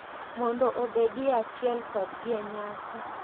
Mondo obedie e achiel kodgi e nyasi.